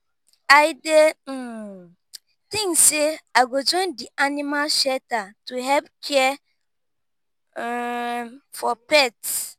i dey um think say i go join di animal shelter to help care um for pets.